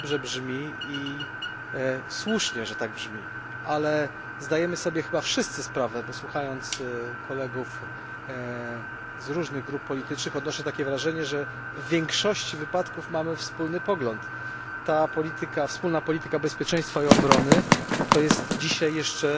I słusznie, że tak brzmi, ale zdajemy sobie chyba wszyscy sprawę bo słuchając kolegów z różnych grup politycznych, odnoszę takie wrażenie, że w większości wypadków mamy wspólny pogląd że ta polityka, wspólna polityka bezpieczeństwa i obrony, to jest dzisiaj jeszcze